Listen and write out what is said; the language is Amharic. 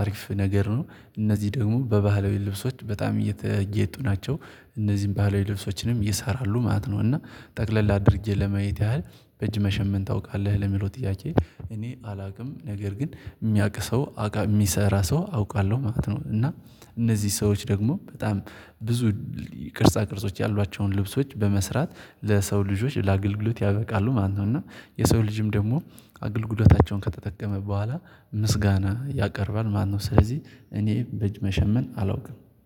አሪፍ ነገር ነው። እነዚህ ደግሞ በባህላዊ ልብሶች በጣም እየተጌጡ ናቸው። እነዚህን ባህላዊ ልብሶችንም ይሰራሉ ማለት ነው። እና ጠቅለል አድርጌ ለማየት ያህል በእጅ መሸመን ታውቃለህ? ለሚለው ጥያቄ እኔ አላውቅም ነገር ግን የሚያቅ ሰው የሚሰራ ሰው አውቃለሁ ማለት ነው። እና እነዚህ ሰዎች ደግሞ በጣም ብዙ ቅርጻ ቅርጾች ያሏቸውን ልብሶች በመስራት ለሰው ልጆች ለአገልግሎት ያበቃሉ ማለት ነው። እና የሰው ልጅም ደግሞ አገልግሎታቸውን ከተጠቀመ በኋላ ምስጋና ያቀርባል ማለት ነው። ስለዚህ እኔ በእጅ መሸመን አላውቅም